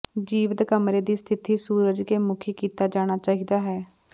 ਜੀਵਤ ਕਮਰੇ ਦੀ ਸਥਿਤੀ ਸੂਰਜ ਕੇ ਮੁੱਖੀ ਕੀਤਾ ਜਾਣਾ ਚਾਹੀਦਾ ਹੈ